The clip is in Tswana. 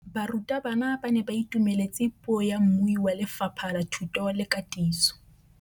Barutabana ba ne ba itumeletse puô ya mmui wa Lefapha la Thuto le Katiso.